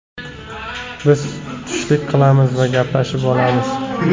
Biz tushlik qilamiz va gaplashib olamiz.